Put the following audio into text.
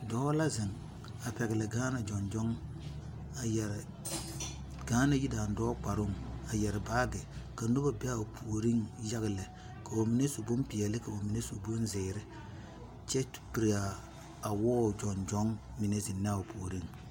Dɔɔ la zeŋ a pɛgeli Ghana joŋjoŋ, a yɛre Ghana yidaandɔɔ kparoo a yɛre baagi ka noba o puoriŋ yaga lɛ ka ba mine su bompɛɛle ka ba mine su bomzeɛre kyɛ piri a wɔɔ joŋjoŋ mine zeŋ naa o pouriŋ.